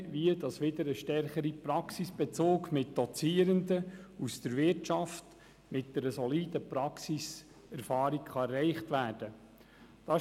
Es geht insbesondere darum, wie ein stärkerer Praxisbezug mit Dozierenden aus der Wirtschaft, die eine solide Praxiserfahrung mitbringen, wieder erreicht werden kann.